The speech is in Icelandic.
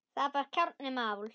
Það var kjarni máls.